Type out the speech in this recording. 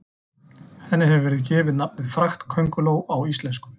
Henni hefur verið gefið nafnið fraktkönguló á íslensku.